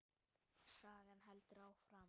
Sagan heldur áfram.